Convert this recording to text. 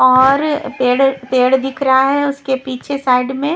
और पेड़ पेड दिख रहा है उसके पीछे साइड में--